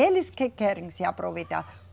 Eles que querem se aproveitar.